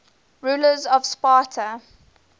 rulers of sparta